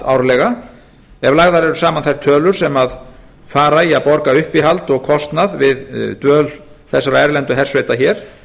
árlega ef lagðar eru saman þær tölur sem fara í að borga uppihald og kostnað við dvöl þessara erlendu hersveita hér